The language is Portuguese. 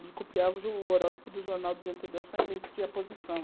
A gente copiava o horóscopo do jornal do dia anterior, só invertia a posição.